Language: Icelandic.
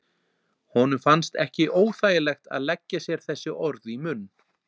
Honum fannst ekki óþægilegt að leggja sér þessi orð í munn.